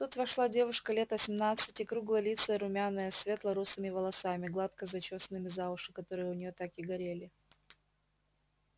тут вошла девушка лет осьмнадцати круглолицая румяная с светло-русыми волосами гладко зачёсанными за уши которые у неё так и горели